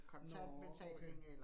Nåh okay